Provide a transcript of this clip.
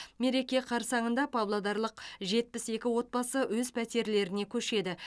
мереке қарсаңында павлодарлық жетпіс екі отбасы өз пәтерлеріне көшеді